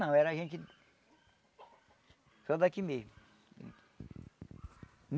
Não, era gente só daqui mesmo.